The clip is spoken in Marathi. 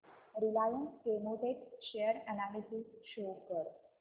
Reliance Chemotex share analysis show कर